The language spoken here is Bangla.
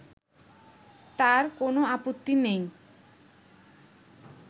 তার কোনো আপত্তি নেই